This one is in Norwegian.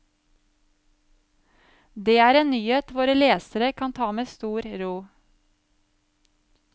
Det er en nyhet våre lesere kan ta med stor ro.